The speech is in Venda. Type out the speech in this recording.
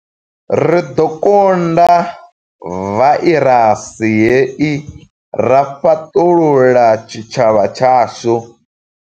Ri ḓo kunda vairasi hei ra fhaṱulula tshitshavha tshashu.